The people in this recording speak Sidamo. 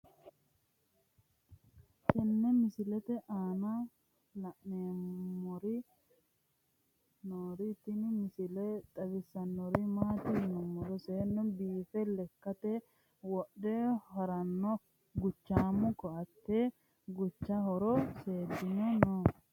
tenne misile aana noorina tini misile xawissannori maati yinummoro seennu biiffe lekkatte wodhe harannohu guchaammu koatte guchcha horo seedinnohi noo